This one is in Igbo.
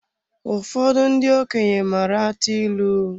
Ụfọdụ ndị okenye maara atụ ịlụ